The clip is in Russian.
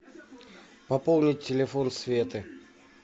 пополнить телефон светы